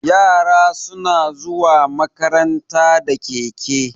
Yara suna zuwa makaranta da keke.